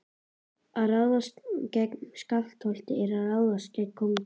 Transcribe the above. Að ráðast gegn Skálholti er að ráðast gegn konungi.